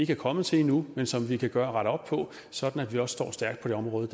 kommet til endnu men som vi kan kan rette op på sådan at vi også står stærkt på det område